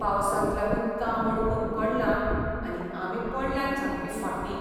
पावसाक लागून काम आडकून पडलां आनी आमी पडल्यांत सामकीं फाटीं.